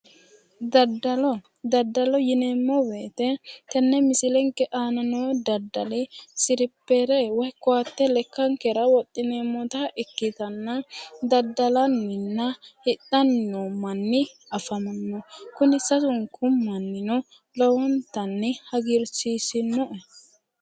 Daddalo. Daddalo yineemmo woyite tenne misilenke aana noo daddali silippeere woyi koatte lekkankera wodhineemmota ikkitanna daddalanninna hidhanni noo manni afamanno. Kuni sasunku mannino lowontanni hagiirsiisinnoe.